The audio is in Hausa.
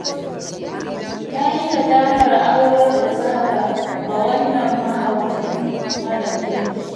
Na yi nadamar aurar da Zahra ga wannan mahaucin mara kirki